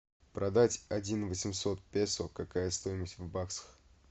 продать один восемьсот песо какая стоимость в баксах